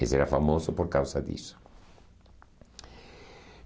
Esse era famoso por causa disso.